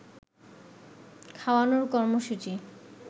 খাওয়ানোর কর্মসূচী